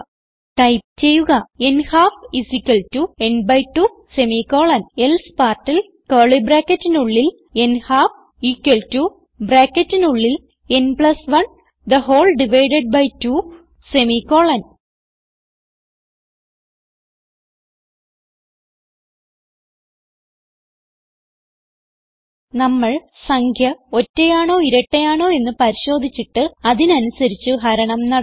type ചെയ്യുക n half n 2 else n half ന് 1 2 നമ്മൾ സംഖ്യ ഒറ്റയാണോ ഇരട്ടയാണോ എന്ന് പരിശോധിച്ചിട്ട് അതിനനുസരിച്ച് ഹരണം നടത്തുന്നു